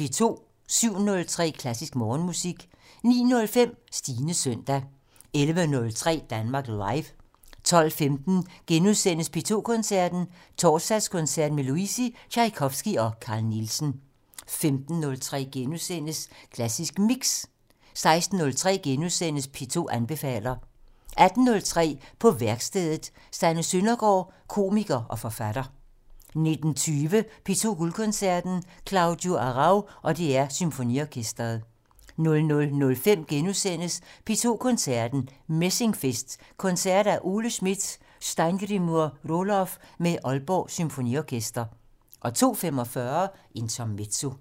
07:03: Klassisk Morgenmusik 09:05: Stines søndag 11:03: Danmark Live 12:15: P2 Koncerten - Torsdagskoncert med Luisi, Tjajkovskij og Carl Nielsen * 15:03: Klassisk Mix * 16:03: P2 anbefaler klassisk * 18:03: På værkstedet - Sanne Søndergaard, komiker og forfatter 19:20: P2 Guldkoncerten - Claudio Arrau og DR Symfoniorkestret 00:05: P2 Koncerten - Messingfest: Koncerter af Ole Schmidt og Steingrimur Rohloff med Aalborg Symfoniorkester * 02:45: Intermezzo